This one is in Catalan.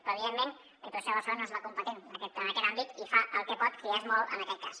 però evidentment la diputació de barcelona no és la competent en aquest àmbit i fa el que pot que ja és molt en aquest cas